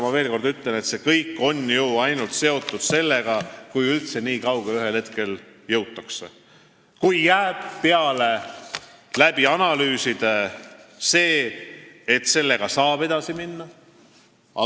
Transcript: Ma veel kord ütlen, et see kõik on seotud sellega, et üldse ühel hetkel nii kaugele jõutakse, kui pärast analüüse on peale jäänud arvamus, et sellega saab edasi minna.